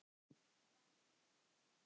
Var hún nefnd